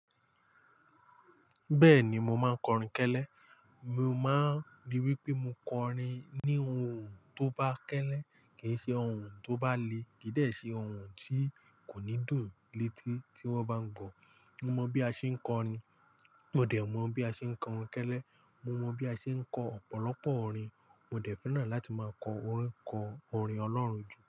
Bẹ́ẹ̀ni, mo máa kọrin kẹ́lẹ́. Mo máa ríi wípé mo kọrin ní ohun tó bá kẹ́lẹ́, kì í ṣe ohun tó bá le, kì í dẹ̀ ṣe ohun tí kò ní dùn létí tí wón bá ń gọ̀. Mo mọ bí a ṣe ń kọrin, mo dẹ̀ mọ̀ bí a ṣe ń kọrin kẹ́lẹ́, mo mọ bí a ṣe ń kọ ọ̀pọ̀lọpọ̀ orin. Mo dẹ̀ fẹ́ràn láti máa kọ orin kọ orin Ọlọ́run jù.